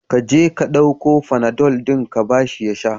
Ka je ka ɗauko fanadol din ka ba shi ya sha.